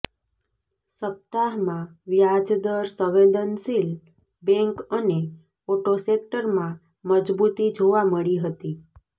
સપ્તાહમાં વ્યાજ દર સંવેદનશીલ બેન્ક અને ઓટો સેક્ટરમાં મજબૂતી જોવા મળી હતી